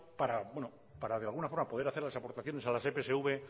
para de alguna forma poder hacer las aportaciones a las epsv